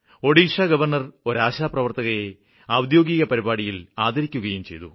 Odisha governor ഒരു ആശാപ്രവര്ത്തകയെ ഔദ്യോഗിക പരിപാടിയില് ആദരിക്കുകയും ചെയ്തു